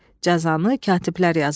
Cəzanı katiblər yazardı.